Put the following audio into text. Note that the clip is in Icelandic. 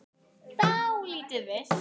Dálítið villt!